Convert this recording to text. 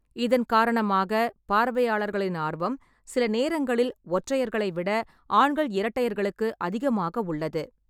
இதன் காரணமாக, பார்வையாளர்களின் ஆர்வம், சில நேரங்களில், ஒற்றையர்களை விட ஆண்கள் இரட்டையர்களுக்கு அதிகமாக உள்ளது.